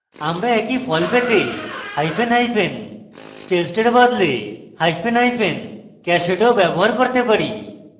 আমরা একই ফল পেতে hyphen hyphen hyphen staged we বদলে hyphen hyphen cached of ব্যবহার করতে পারি